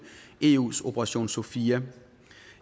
eus operation sophia